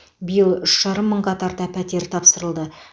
биыл үш жарым мыңға тарта пәтер тапсырылды